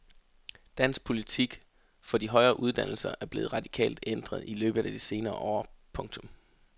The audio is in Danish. Dansk politik for de højere uddannelser er blevet radikalt ændret i løbet af de senere år. punktum